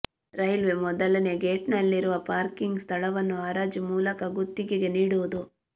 railway ಮೊದಲನೇ ಗೇಟ್ನಲ್ಲಿರುವ parking ಸ್ಥಳವನ್ನು ಹರಾಜು ಮೂಲಕ ಗುತ್ತಿಗೆ ನೀಡುವುದು